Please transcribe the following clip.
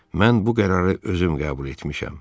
Mən bu qərarı özüm qəbul etmişəm.